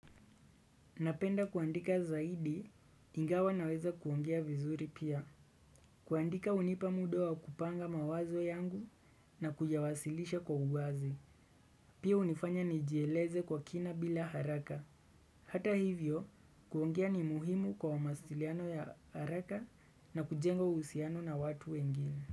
Napenda kuandika zaidi, ingawa naweza kuongea vizuri pia. Kuandika unipa muda wa kupanga mawazo yangu na kuyawasilisha kwa uwazi. Pia unifanya nijieleze kwa kina bila haraka. Hata hivyo, kuongea ni muhimu kwa masiliano ya haraka na kujenga usiano na watu wengine.